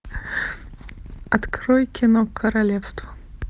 открой кино королевство